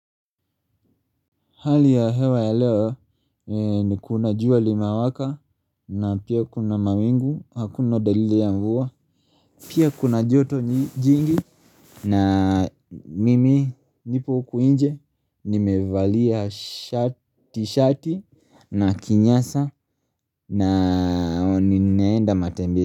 Hali ya hewa ya leo ni kuna jua linawaka, na pia kuna mawingu hakuna dalili ya mvua. Pia kuna joto jingi na mimi nipo huku nje, nimevalia shati na kinyasa na nineenda matembezi.